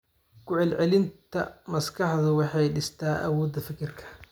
Ku celcelinta maskaxdu waxay dhistaa awoodda fikirka.